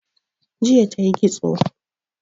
Jiya tayi ƙitso